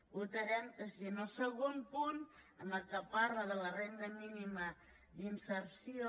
votarem que sí en el segon punt en el qual parla de la renda mínima d’inserció